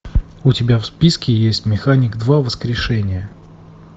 у тебя в списке есть механик два воскрешение